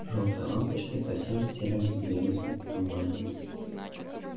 жёлтые лампочки совсем затерялись в белесом полумраке